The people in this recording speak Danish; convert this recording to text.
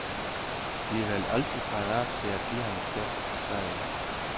De er vel altid parat til at give ham et skub bagi.